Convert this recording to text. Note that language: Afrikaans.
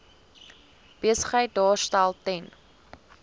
besigheid daarstel ten